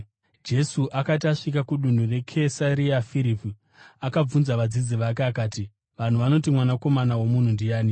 Jesu akati asvika kudunhu reKesaria Firipi, akabvunza vadzidzi vake akati, “Vanhu vanoti Mwanakomana woMunhu ndiani?”